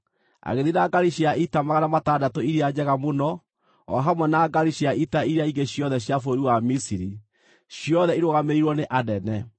Agĩthiĩ na ngaari cia ita 600 iria njega mũno, o hamwe na ngaari cia ita iria ingĩ ciothe cia bũrũri wa Misiri, ciothe irũgamĩrĩirwo nĩ anene.